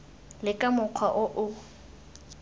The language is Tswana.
le ka mokgwa o o